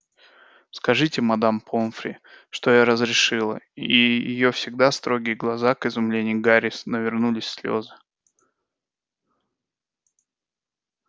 скажите мадам помфри что я разрешила и её всегда строгие глаза к изумлению гарри навернулись слёзы